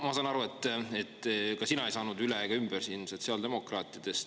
Ma saan aru, et ka sina ei saanud üle ega ümber sotsiaaldemokraatidest.